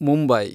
Mumbai